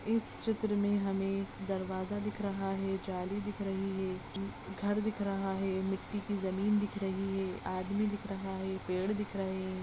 इस चित्र में हमें दरवाजा दिख रहा है जाली दिख रही है घर दिख रहा है मिट्टी की जमीन दिख रही है आदमी दिख रहा है पेड़ दिख रहे है।